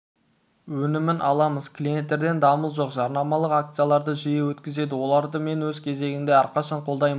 өнімін аламыз клиенттерден дамыл жоқ жарнамалық акцияларды жиі өткізеді оларды мен өз кезегінде әрқашанда қолдаймын